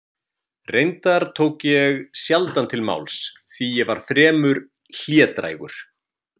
Reyndar tók ég sjaldan til máls því að ég var fremur hlédrægur.